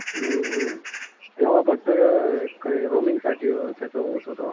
हम्म हम्म तेव्हा फक्त रोमिंगी साठी त्याचं होत होतं.